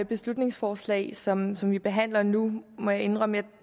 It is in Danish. beslutningsforslag som som vi behandler nu må jeg indrømme